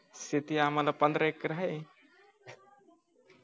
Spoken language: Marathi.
शेती आम्हाला पंधरा एकर आहे